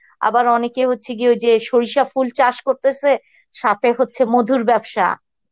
আবার অনেকে হস্সে গিয়ে সরিষা ফুল চাস করতেসে সথে হস্সে মধুর বেবসা